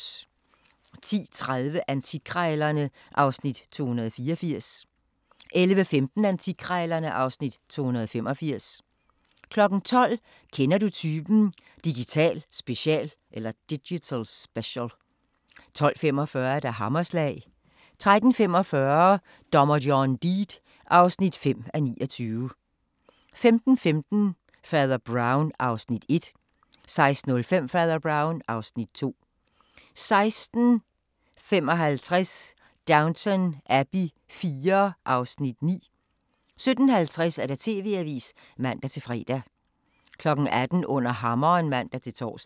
10:30: Antikkrejlerne (Afs. 284) 11:15: Antikkrejlerne (Afs. 285) 12:00: Kender Du Typen? – Digital Special 12:45: Hammerslag 13:45: Dommer John Deed (5:29) 15:15: Fader Brown (Afs. 1) 16:05: Fader Brown (Afs. 2) 16:55: Downton Abbey IV (Afs. 9) 17:50: TV-avisen (man-fre) 18:00: Under Hammeren (man-tor)